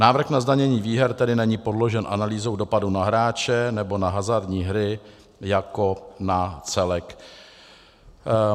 Návrh na zdanění výher tedy není podložen analýzou dopadu na hráče nebo na hazardní hry jako na celek.